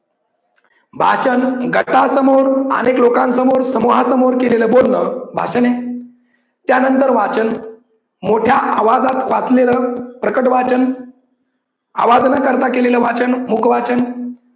भाषण गटासमोर, अनेक लोकांसमोर, समूहासमोर केलेलं बोलन भाषण आहे. त्या नंतर वाचन मोठ्या आवाजात वाचलेलं प्रकट वाचन, आवाज न करता केलेलं वाचन मुख वाचन.